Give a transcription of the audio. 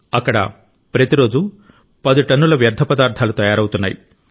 అక్కడ ప్రతి రోజు 10 టన్నుల వ్యర్థ పదార్థాలు తయారవుతున్నాయి